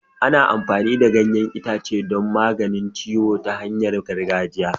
Ana amfani da ganyen ita ce don magance ciwo ta hanyar gargajiya.